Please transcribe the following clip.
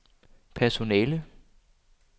personale